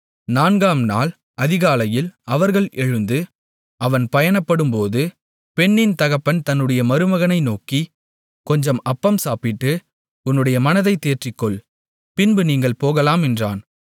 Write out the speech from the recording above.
நான்காம் நாள் அதிகாலையில் அவர்கள் எழுந்து அவன் பயணப்படும்போது பெண்ணின் தகப்பன் தன்னுடைய மருமகனை நோக்கி கொஞ்சம் அப்பம் சாப்பிட்டு உன்னுடைய மனதைத் தேற்றிக்கொள் பின்பு நீங்கள் போகலாம் என்றான்